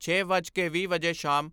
ਛੇ ਵੱਜ ਕੇ ਵੀਹ ਮਿੰਟ ਵਜੇ ਸ਼ਾਮ